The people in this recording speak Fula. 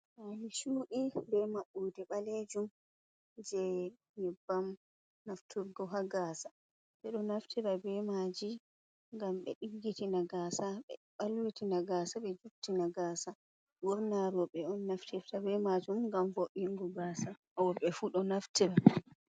Pali cu’i be maɓɓode ɓalejum je nyobbam nafturgo ha gasa, ɓeɗo nafite be maji gam ɓe diggitina gasa, ɓe balwitina gasa, ɓe juttina gasa, ɓurna roɓɓe on naftirta be majum gam voingo gasa worɓe fu ɗo naftire.